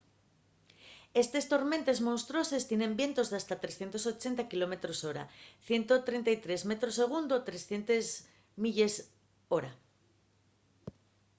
estes tormentes monstruoses tienen vientos d’hasta 380 km/h 133 m/s 300 mph